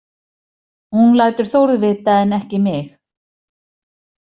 Hún lætur Þórð vita en ekki mig.